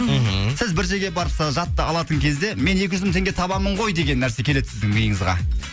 мхм сіз бір жерге барып алатын кезде мен екі жүз мың теңге табамын ғой деген нәрсе келеді сіздің миыңызға